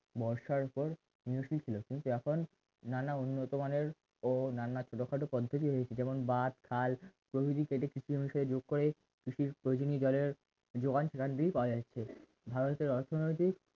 বর্ষার পর নিয়োজিত ছিল কিন্তু এখন নানা উন্নত মানের ও নানা ছোটখাটো পদ্ধতি হয়েছে যেমন বাদ খাল প্রভৃতি কেটে কৃষি বিষয়ে যোগ করে কৃষির প্রয়োজনীয় জলের যোগান সেখান থেকে পাওয়া যাচ্ছে ভারতের অর্থনৈতিক